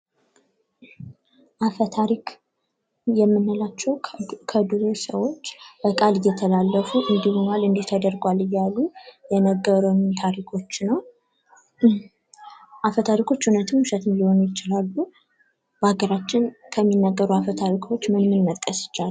አፈታሪክ የምንላቸው ከድሮ ሰዎች በቃል እየተላለፉ እንዲ ሆኗል እንዲህ ተደርጓል እያሉ የነገሩን ታሪኮች ነው። አፈታሪኮች እውነትን ውሸትን ሊሆኑ ይችላሉ። በአገራችን ከሚነገሩ አፈታሪኮች ምን ምን መጥቀስ ይቻላል?